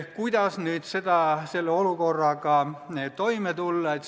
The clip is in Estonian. Kuidas selle olukorraga toime tulla?